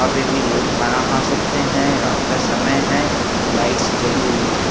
अभी भी लोग खाना खा सकते हैं रात का समय है लाइट्स जली हुई हैं।